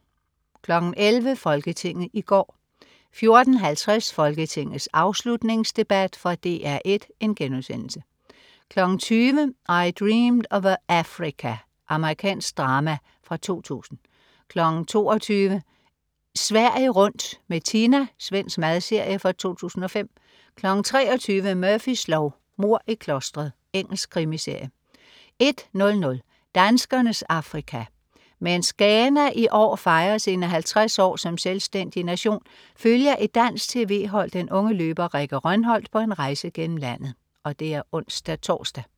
11.00 Folketinget i går 14.50 Folketingets afslutningsdebat. Fra DR 1* 20.00 I Dreamed of Africa. Amerikansk drama fra 2000 22.00 Sverige rundt med Tina. Svensk madserie fra 2005 23.00 Murphys lov: Mord i klostret. Engelsk krimiserie 01.00 Danskernes Afrika. Mens Ghana i år fejrer sine 50 år som selvstændig nation, følger et dansk tv-hold den unge løber Rikke Rønholt på en rejse gennem landet (ons-tors)